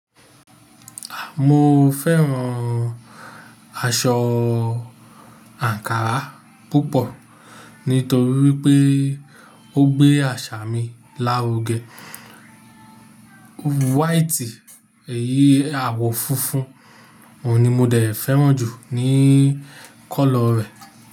Mo fẹ́ran aṣọ àǹkárá púpọ̀ nítorí pé ó gbé àṣà mi lárugẹ. White, èyí àwọ̀ funfun òun ni mo dẹ̀ fẹ́ran jù ní kọ́lọ̀ rẹ̀